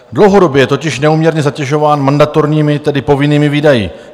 Dlouhodobě je totiž neúměrně zatěžován mandatorními, tedy povinnými, výdaji.